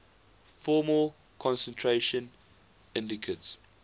formal concentration indicates